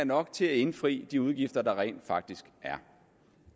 nok til at indfri de udgifter der rent faktisk er